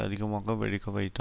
அதிகமாக வெடிக்க வைத்தா